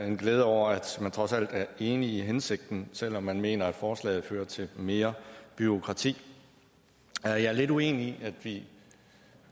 en glæde over at man trods alt er enig i hensigten selv om man mener at forslaget fører til mere bureaukrati jeg er lidt uenig i at vi